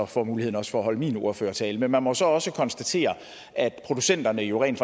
får mulighed for at holde min ordførertale men man må så også konstatere at producenterne jo rent